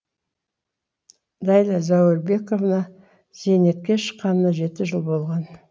нәйлә зәуірбековна зейнетке шыққанына жеті жыл болған